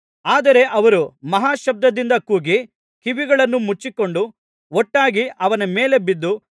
ಆದರೆ ಅವರು ಮಹಾಶಬ್ದದಿಂದ ಕೂಗಿ ಕಿವಿಗಳನ್ನು ಮುಚ್ಚಿಕೊಂಡು ಒಟ್ಟಾಗಿ ಅವನ ಮೇಲೆ ಬಿದ್ದು